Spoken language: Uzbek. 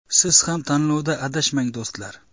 Siz ham tanlovda adashmang do‘stlar!